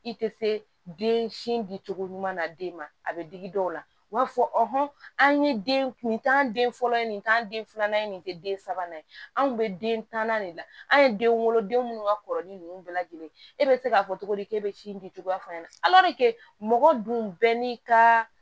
I tɛ se den sin di cogo ɲuman na den ma a bɛ digi dɔw la u b'a fɔ an ye den nin k'an den fɔlɔ ye nin k'an den filanan ye nin tɛ den sabanan ye anw kun bɛ den tanna de la an ye denw wolo den minnu ka kɔrɔlen ninnu bɛɛ lajɛlen e bɛ se k'a fɔ cogo di k'e bɛ sin di cogo fɔ an ɲɛna mɔgɔ dun bɛɛ n'i ka